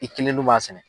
I kelen dun b'a sɛnɛ